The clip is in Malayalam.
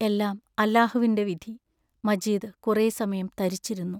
എല്ലാം അല്ലാഹ് വിന്റെ വിധി മജീദ് കുറേ സമയം തരിച്ചിരുന്നു.